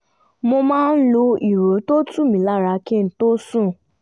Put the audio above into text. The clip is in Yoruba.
mo máa lo ìró tó tu mi lára kí n tó sùn